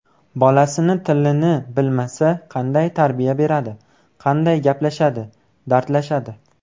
Bolasini tilini bilmasa qanday tarbiya beradi, qanday gaplashadi, dardlashadi?